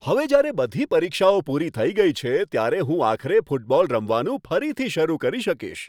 હવે જ્યારે બધી પરીક્ષાઓ પૂરી થઈ ગઈ છે, ત્યારે હું આખરે ફૂટબોલ રમવાનું ફરીથી શરૂ કરી શકીશ.